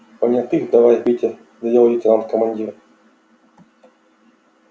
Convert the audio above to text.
понятых давай петя велел лейтенанту командир